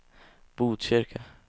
Botkyrka